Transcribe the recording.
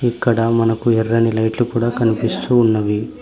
ఇక్కడ మనకు ఎర్రని లైట్లు కూడా కనిపిస్తూ ఉన్నవి.